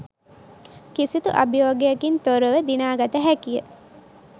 කිසිදු අභියෝගයකින් තොරව දිනාගත හැකිය